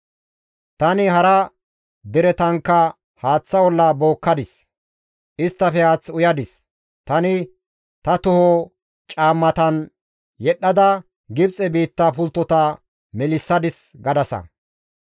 « ‹Tani hara deretankka haaththa olla bookkadis; isttafe haath uyadis; Tani ta toho caammatan yedhdhada Gibxe biitta pulttota melissadis› gadasa.